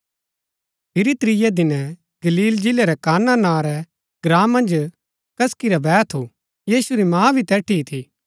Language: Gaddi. फिरी त्रियै दिनै गलील जिलै रै काना नां रै ग्राँ मन्ज कसकी रा बैह थू यीशु री माँ भी तैठी ही थी